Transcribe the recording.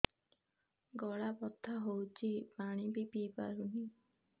ଗଳା ବଥା ହଉଚି ପାଣି ବି ପିଇ ପାରୁନି